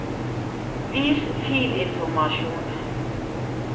vis filinformasjon